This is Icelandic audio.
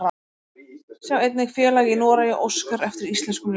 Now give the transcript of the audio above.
Sjá einnig: Félag í Noregi óskar eftir íslenskum leikmönnum